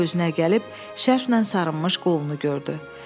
O özünə gəlib, şərf nən sarınmış qolunu gördü.